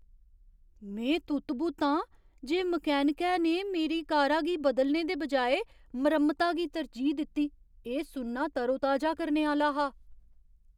में तुत्त बुत्त आं जे मकैनिकै ने मेरी कारा गी बदलने दे बजाए मरम्मता गी तरजीह् दित्ती। एह् सुनना तरोताजा करने आह्‌ला हा।